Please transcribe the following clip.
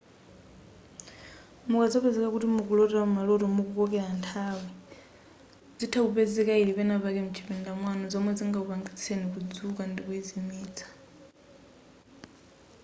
mukazapezeka kuti mukulota maloto mukukokera nthawi zitha kutheka yili penapake m'chipinda mwanu zomwe zingakupangitseni kudzuka ndikuizimitsa